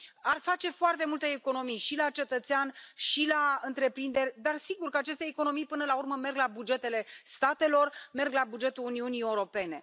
Ar face foarte multe economii și la cetățean, și la întreprinderi, dar sigur că aceste economii până la urmă merg la bugetele statelor, merg la bugetul Uniunii Europene.